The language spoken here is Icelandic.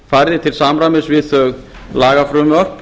færðir til samræmis við þau lagafrumvörp